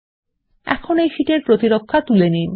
এখন এই শীট এর প্রতিরক্ষা তুলে নিন